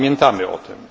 Pamiętamy o tym!